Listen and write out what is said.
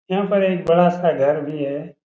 यहाँ पर एक बड़ा-सा घर भी है।